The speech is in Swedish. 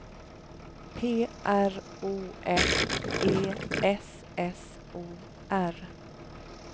P R O F E S S O R